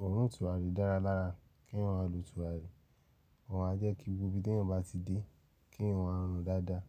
Òrún tùràrí dára lara. Kí ẹ̀eyan máa lo tùràrí, ó máa jẹ́ kí gbogbo ibi tí ẹ́eyan bá ti dé, kí ẹ̀eyan maa rún dáadáa.